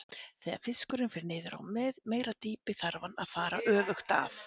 Þegar fiskurinn fer niður á meira dýpi þarf hann að fara öfugt að.